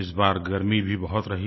इस बार गर्मी भी बहुत रही